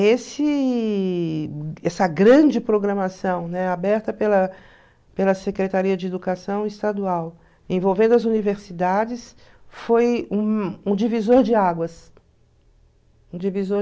Esse essa grande programação, né, aberta pela pela Secretaria de Educação Estadual, envolvendo as universidades, foi um divisor de águas. Um divisor...